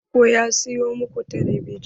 Baban ku ya siyo maku talabijin?